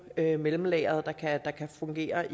at have mellemlageret der kan fungere